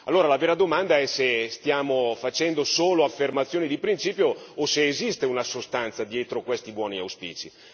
Allora, la vera domanda è se stiamo facendo solo affermazioni di principio o se esiste una sostanza dietro questi buoni auspici.